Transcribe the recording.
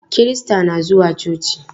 Kirista na zuwa coci.